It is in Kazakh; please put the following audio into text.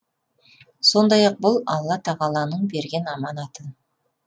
сондай ақ бұл алла тағаланың берген аманаты